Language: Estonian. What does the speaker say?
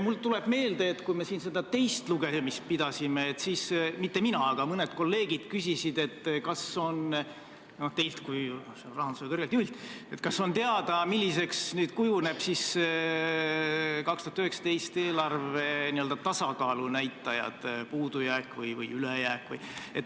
Mul tuleb meelde, et kui me siin seda teist lugemist pidasime, siis küsiti – mitte mina, aga mõned kolleegid küsisid – teilt kui rahanduse kõrgelt juhilt, kas on teada, milliseks kujunevad 2019. aasta eelarve n-ö tasakaalunäitajad, puudujääk või ülejääk.